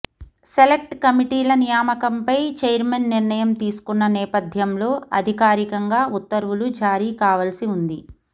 select కమిటీల నియామకంపై chairman నిర్ణయం తీసుకున్న నేపథ్యంలో అధికారికంగా ఉత్తర్వులు జారీ కావాల్సి ఉంది